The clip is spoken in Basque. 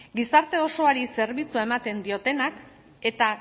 gizarte osoari zerbitzua ematen diotenak eta